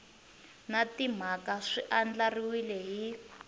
na timhaka swi andlariwile hi